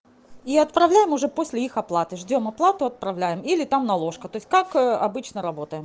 и отправляем уже после их оплаты ждём оплату отправляем или там наложка то есть как обычно работаем